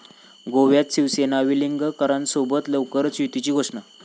गोव्यात शिवसेना वेलिंगकरांसोबत, लवकरच युतीची घोषणा